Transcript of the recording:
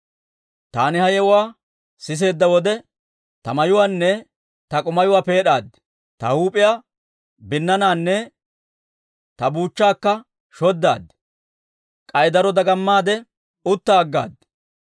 Taani ha yewuwaa siseedda wode, ta mayuwaanne ta k'umayuwaa peed'aad; ta huup'iyaa binnaanaanne ta buuchchaakka shoddaad; k'ay daro dagamaade utta aggaad.